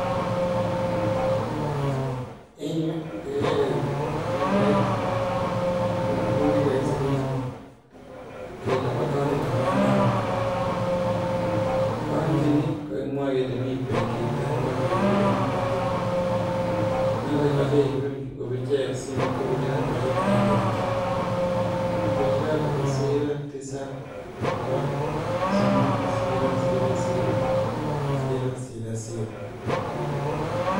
Nitok ko kimostab ab narok en ofisishek ab [equity]